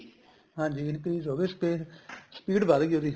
ਹਾਂਜੀ increase ਹੋ ਗਈ speed speed ਵੱਧਗੀ ਉਹਦੀ